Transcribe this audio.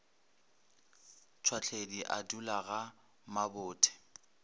tšhwahledi a dula ga mabothe